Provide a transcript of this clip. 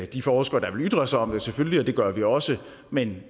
de forskere der vil ytre sig om det selvfølgelig og det gør vi også men